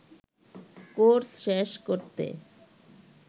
course শেষ করতে